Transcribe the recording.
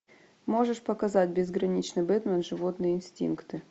можешь показать безграничный бэтмен животные инстинкты